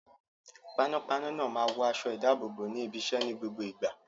Panápaná náà máa ń wọ aṣọ-ìdáàbòbò ní ibiṣẹ́ ní gbogbo ìgbà.